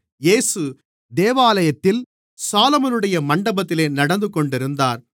இயேசு தேவாலயத்தில் சாலொமோனுடைய மண்டபத்திலே நடந்துகொண்டிருந்தார்